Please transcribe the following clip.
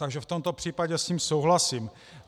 Takže v tomto případě s ním souhlasím.